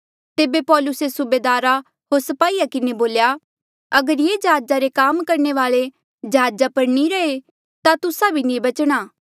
तेबे पौलुसे सूबेदारा होर स्पाहीया किन्हें बोल्या अगर ये जहाजा रे काम करणे वाले जहाजा पर नी रैहे ता तुस्सा भी नी बचणा